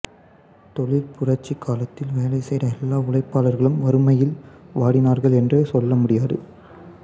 தொழிற்புரட்சிக் காலத்தில் வேலை செய்த எல்லா உழைப்பாளர்களும் வறுமையில் வாடினார்கள் என்று சொல்லமுடியாது